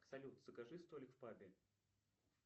салют закажи столик в пабе